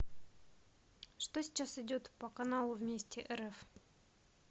что сейчас идет по каналу вместе рф